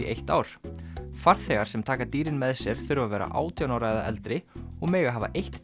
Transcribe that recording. eitt ár farþegar sem taka dýrin með sér þurfa að vera átján ára eða eldri og mega hafa eitt